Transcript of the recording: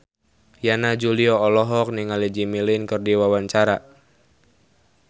Yana Julio olohok ningali Jimmy Lin keur diwawancara